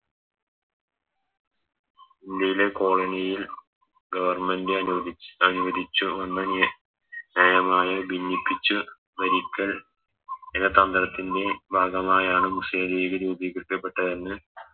ഇന്ത്യയിലെ കോളനിയിൽ Government അനുവദിച് അനുവദിച്ചു എന്ന ന്യായമായ ഭിന്നിപ്പിച്ചു ഭരിക്കൽ എന്ന തന്ത്രത്തിൻറെ ഭാഗമായാണ് മുസ്ലിം ലീഗ് രൂപീകൃതപ്പെട്ടതെന്ന്